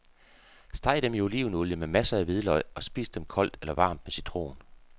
Steg dem i olivenolie med masser af hvidløg, og spis dem koldt eller varmt med citron.